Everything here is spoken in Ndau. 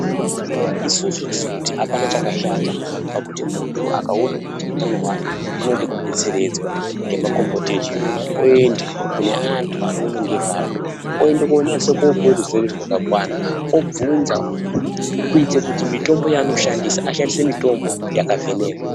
Isusu tirikuti hapana chakashata pakuti muntu akaone kuti utano hwake hunode kubetseredzwa nemakombote echiyungu oyende kune antu anoone ngezvazvo oyende konyatsopuwa ruzere rwakakwana obvunza kuite kuti mitombo yaanoshandisa ashandise mitombo yakavhenekwa.